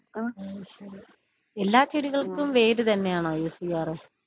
എല്ലാ ചെടികൾക്കും വേര് തന്നെയാണോ യൂസ് ചെയ്യാറ്?